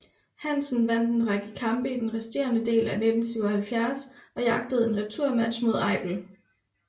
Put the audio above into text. Hansen vandt en række kampe i den resterende del af 1977 og jagtede en returmatch mod Eipel